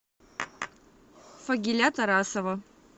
фагиля тарасова